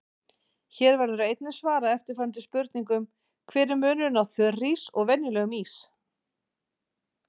Hér verður einnig svarað eftirfarandi spurningum: Hver er munurinn á þurrís og venjulegum ís?